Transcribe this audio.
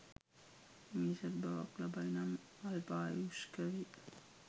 මිනිසත් බවක් ලබයි නම් අල්පායුෂ්ක වෙයි.